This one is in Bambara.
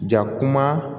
Ja kuma